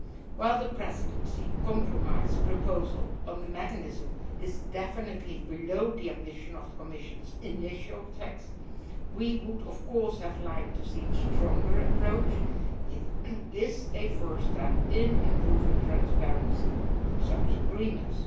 While the Presidency compromise proposal on the mechanism is definitely below the ambition of the Commission's initial text we would of course have liked to see a stronger approach it is a first step in improving transparency on such agreements.